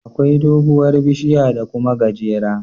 Akwai doguwar bishiya da Kuma gajera